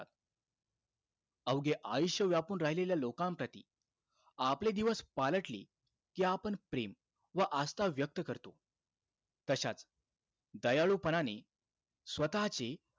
अवघे आयुष्य व्यापून राहिलेल्या लोकांप्रती आपले दिवस पालटले कि आपण प्रेम व आस्था व्यक्त करतो. तशाच दयाळूपणाने स्वतःची,